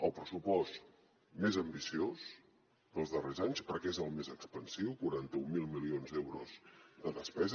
el pressupost més ambiciós dels darrers anys perquè és el més expansiu quaranta mil milions d’euros de despesa